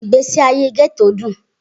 Igbesi aye Getto dun.